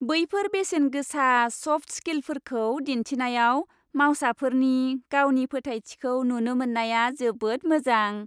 बैफोर बेसेनगोसा सफ्ट स्किलफोरखौ दिन्थिनायाव मावसाफोरनि गावनि फोथायथिखौ नुनो मोननाया जोबोद मोजां।